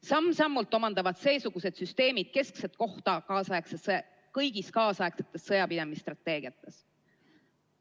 Samm-sammult omandavad seesugused süsteemid keskset kohta kõigis kaasaegsetes sõjapidamise strateegiates.